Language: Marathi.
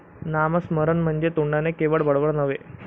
नामस्मरण म्हणजे तोंडाने केवळ बडबड नव्हे.